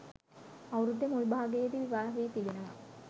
අවුරුද්දේ මුල් භාගයේදී විවාහ වී තිබෙනවා